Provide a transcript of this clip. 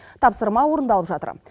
тапсырма орындалып жатыр